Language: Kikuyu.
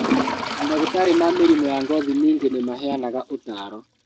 Mandagĩtarĩ ma mĩrimũ ya ngothi ningĩ nĩmaheanaga ũtaaro